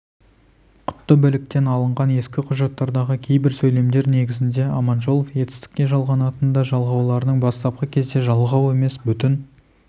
құтты біліктен алынған ескі құжаттардағы кейбір сөйлемдер негізінде аманжолов етістікке жалғанатын ды жалғауларының бастапқы кезде жалғау емес бүтін